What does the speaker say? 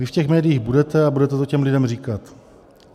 Vy v těch médiích budete a budete to těm lidem říkat.